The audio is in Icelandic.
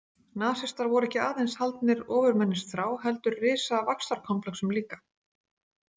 Nasistar voru ekki aðeins haldnir ofurmennisþrá heldur risavaxtarkomplexum líka.